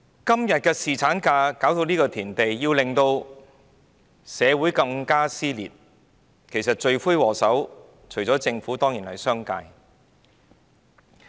今天侍產假弄至社會撕裂，罪魁禍首除了政府之外，當然是商界。